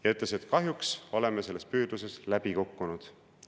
Ta ütles, et kahjuks oleme selles püüdluses läbi kukkunud.